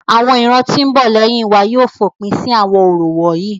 Awọn iran ti n bo leyin wa yóò fopin si awọn orȯ wonyi.́